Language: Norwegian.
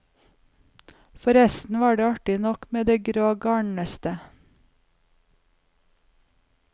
Forresten var det artig nok med det grå garnnøstet.